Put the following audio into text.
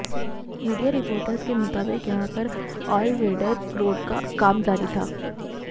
media reports के मुताबिक यहां पर ऑल वेदर रोड का काम जारी था